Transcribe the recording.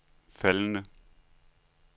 faldende